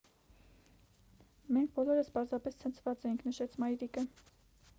«մենք բոլորս պարզապես ցնցված էինք»,- նշեց մայրիկը: